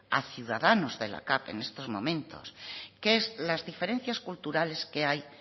a ciudadanos de la capv en estos momentos que es las diferencias culturales que hay